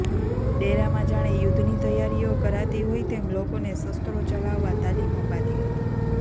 ડેરામાં જાણે યુદ્ધની તૈયારીઓ કરાતી હોય તેમ લોકોને શસ્ત્રો ચલાવવા તાલીમ અપાતી હતી